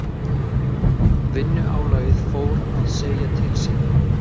Vinnuálagið fór að segja til sín.